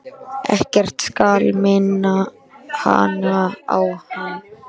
Ekkert skal minna hana á hann.